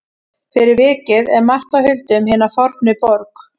Fyrir vikið er margt á huldu um hina fornu borg.